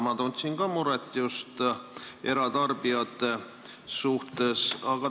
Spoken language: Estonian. Ma tundsin ka muret just eratarbijate pärast.